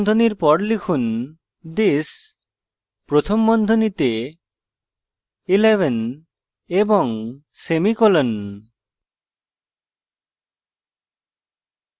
কোঁকড়া বন্ধনীর পর লিখুন this প্রথম বন্ধনীতে 11 এবং semicolon